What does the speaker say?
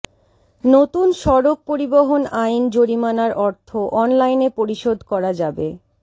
নতুন সড়ক পরিবহন আইন জরিমানার অর্থ অনলাইনে পরিশোধ করা যাবে